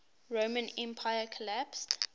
roman empire collapsed